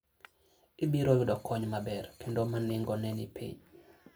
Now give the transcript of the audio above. Ibiro yudo kony maber kendo ma nengone ni piny.